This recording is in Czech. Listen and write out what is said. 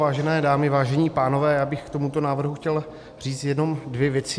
Vážené dámy, vážení pánové, já bych k tomuto návrhu chtěl říci jenom dvě věci.